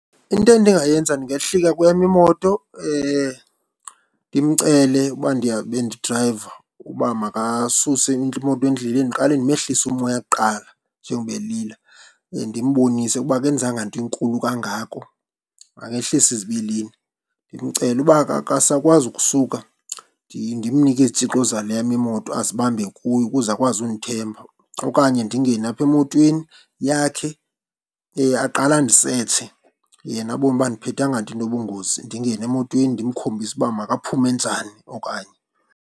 Into endingayenza ndingehlika kweyam imoto ndimcele uba ndiyabe ndidrayiva ukuba makasuse imoto endleleni. Ndiqale ndimehlise umoya kuqala njengoba elila, ndimbonise ukuba akenzanga nto inkulu kangako makehlise izibilini, ndimcele. Uba akasakwazi ukusuka, ndimnike izitshixo zale yam imoto azibambe kuye ukuze akwazi undithemba okanye ndingene apha emotweni yakhe aqale andisetshe yena abone uba andiphethanga nto inobungozi, ndingene emotweni ndimkhombise uba makaphume njani okanye.